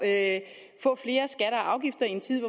af